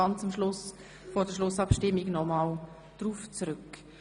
Unmittelbar vor der Schlussabstimmung komme ich noch einmal darauf zurück.